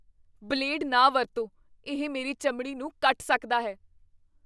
Blade ਨਾ ਵਰਤੋ। ਇਹ ਮੇਰੀ ਚਮੜੀ ਨੂੰ ਕੱਟ ਸਕਦਾ ਹੈ।